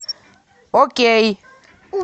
окей